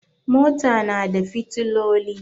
Mota na da fiotillu.